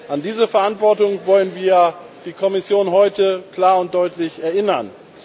An diese Verantwortung wollen wir die Kommission heute klar und deutlich erinnern.